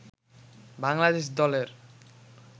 বাংলাদেশ দলের